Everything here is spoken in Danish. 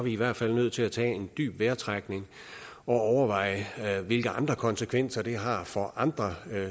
i hvert fald nødt til at tage en dyb vejrtrækning og overveje hvilke andre konsekvenser det har for andre